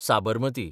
Sabarmati